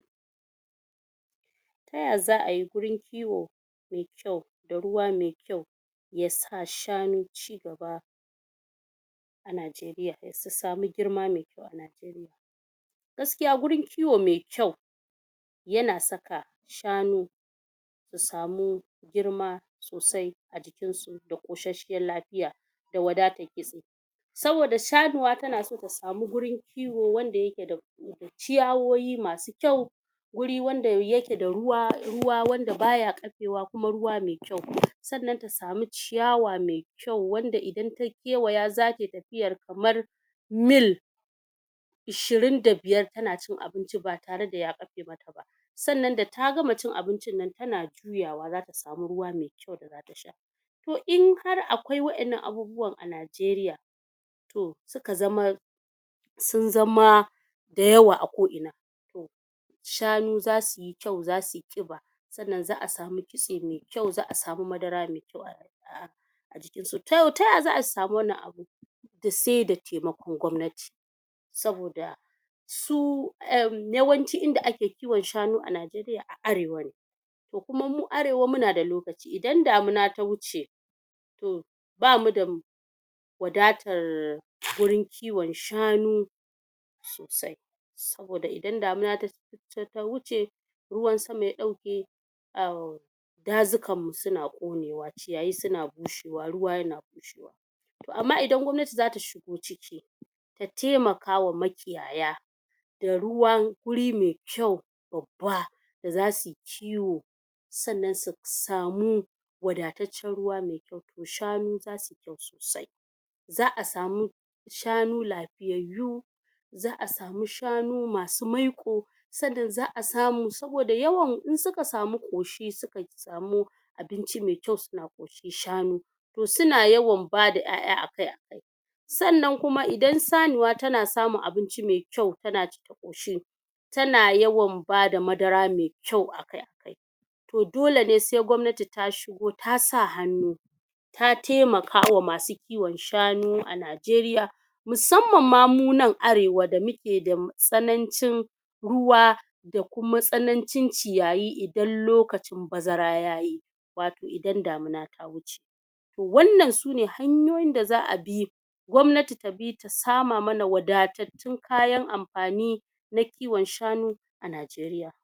taya zaayi wurin kiwo me kyau da ruwa me kyau ya sa shanu chigaba a nijeriya su samu girma mekyau a nijeriya gaskiya wurin kiwo me kyau yana saka shanu su samu girma sosai a jikinsu da kosasshen lafiya da wadatar kitse saboda shanuwa tana so ta samu wurin kiwo wanda yake da ciyawowi masu kyau wuri wanda yake da ruwa ruwa wanda baya kafewa kuma ruwa me kyau sannan ta samu ciyawa me kyau me kyau wanda idan ta gewaya zata tafiyar kamar mill ishirin da biyar tana cin abinci ba tare da ya kafe mata ba sannan da ta gama cin abincin tana juyawa juyawa zata samu ruwa me kyau da zata sha to in har akwai wadannan abubuwan a nijeriya to suka zama sun zama da yawa a ko'ina shanu zasuyi kyau zasuyi kiba sa'annan za a samu kitse me kyau zaa samu madara me kyau a a jikinsu to taya zaayi su samu wannan abu se da taimakon gwamnati saboda su erm yawanci inda ake kiwon shanu a nijeriya a arewa ne to kuma mu arewa muna da lokaci idan damuna ta wuce to bamu da wadatar wurin kiwon shanu sosai saboda idan damuna ta ta kusa ta wuce ruwan sama ya dauke au dazukanmu suna konewa ciyayi suna bushewa ruwa yana bushewa to amma ito amma idan gwamnati zasu shigo ciki ta taimaka ma makiyaya da ruwan wuri me kyau babba da zasuyi kiwo sannan su samu wadataccen ruwa me kyau to shanu zasu kyau sosai zaa samu wasu shanu lafiyayyu zaa samu shanu masu maiko sannan zaa samu saboda yawan in suka samu koshi suka samu abinci me kyau suna koshi shanu to suna yawan bada yaya akai akai sannan idan sanuwa tana samun abinci me kyau tana ci ta koshi tana yawan bada madara me kyau akai akai to dole sai gwamnati ta shigo ta sa hannu ta ta taimaka ma masu kiwon shanu a nijeriya musamman mu nan arewa da muke da tsanancin ruwa da kuma tsanancin ciyayi idan lokacin bazara yayi wato idan damuna ta wuce wannan sune hanyoyin da zaa bi gwamnati ta bi ta sama mana wadatattun kayan amfani na kiwon shanu a nijeriya